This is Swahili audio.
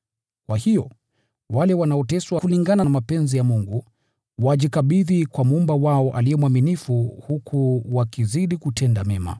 Kwa hiyo, wale wanaoteswa kulingana na mapenzi ya Mungu, wajikabidhi kwa Muumba wao aliye mwaminifu, huku wakizidi kutenda mema.